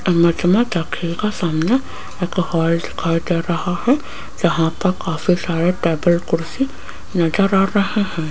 Image में देखिएगा सामने एक हॉल दिखाई दे रहा है जहां पर काफी सारे टेबल कुर्सी नज़र आ रहे हैं।